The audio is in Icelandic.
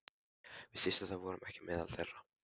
Við systurnar vorum ekki meðal þeirra.